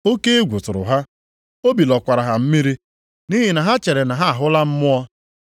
Oke egwu tụrụ ha, obi lọkwara ha mmiri nʼihi na ha chere na ha ahụla mmụọ.